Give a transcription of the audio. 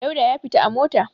Dauda ya fita a mota.